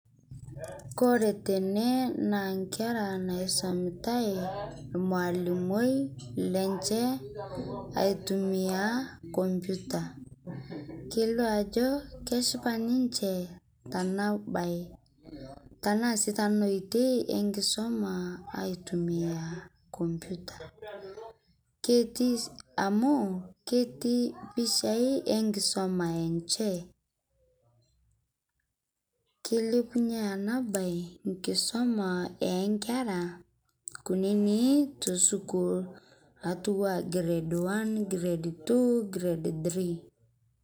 Kore tenee naa nkera naisomitai lmaalimoi lenche aitumia computer keilio ajo keshipa ninshe tana bai tanaa sii tana oitei enkisoma aitumia computer keti amu keti pichai enkisoma enshe. Keilepunye ana bai nkisoma enkera kunini tosukuul atuwaa grade one, grade two, grace three.